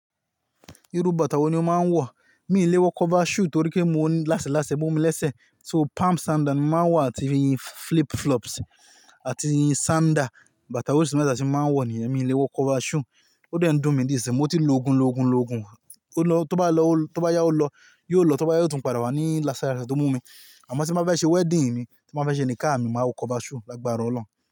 Irú bàtà wo ni ó máa ń wọ̀? Mi ì léwọ́ cover shoe torí pé mo ní láseláse mú mi lésè, so palm sandal ni mo máa ń wọ̀ àti iyì flip flops àti iyì sandal, bàtà orísì mẹ́ta ti mo máa ń wọ̀ nìyẹn, mi ì léwọ́ cover shoe. Ó dọ̀ ń dùn mí ní ìṣẹ́, mo ti lo ogun, lo ogun, lo ogun, ó lọ tó bá lọ ó tó bá yá ó lọ, yóò lọ tó bá yá yóò tún padà wá ní lásálàṣẹ tó mú mi. Àmọ́ tí mo bá fẹ́ ṣe wedding mi, tí mo bá fẹ́ ṣe níkáàmi, màá wọ cover shoe lágbára ọlọ́run.